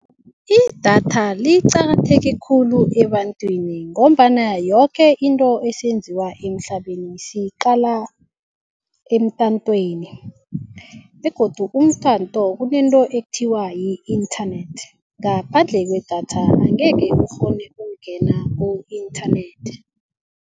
Idatha liqakatheke khulu ebantwini ngombana yoke into esenziwa emhlabeni siyiqala emtatweni begodu umtato kunento ekuthiwa yi-internet ngaphandle kwedatha angeke ukghone ukungena ku-internet.